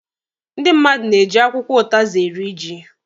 Ndị mmadụ na-eji akwụkwọ ụtazị eri ji